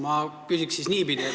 Ma küsin siis niipidi.